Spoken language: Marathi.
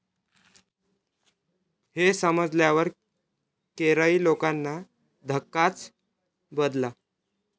हे समजल्यावर केरळी लोकांना धक्काच बदला.